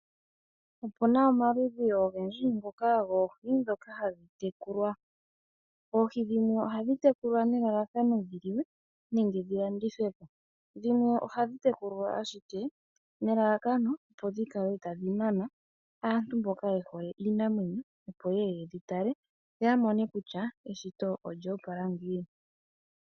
Opuna omaludhi ongendji ngoka goohi dhoka hadhitekulwa oohi dhimwe ohadhi tekulwa nelalakano dhiliwe nenge dhilandithwe po, dhimwe ohadhi tekulwa ashike nelalakano opo dhikala tadhinana aantu mboka yehole Iinamwenyo opo yeye yedhitale yo oyamone kutya eshito olyopala ngiini.